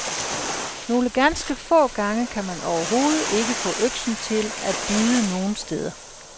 Nogle ganske få gange kan man overhovedet ikke få øksen til at bide nogen steder.